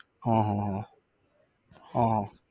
હા હા હા, હા હા